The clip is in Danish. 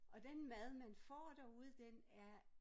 Og den mad man får derude den er